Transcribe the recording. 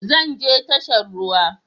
Zan je tashar ruwa